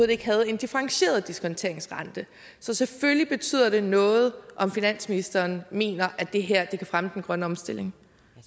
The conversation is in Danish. ikke havde en differentieret diskonteringsrente så selvfølgelig betyder det noget om finansministeren mener at det her kan fremme den grønne omstilling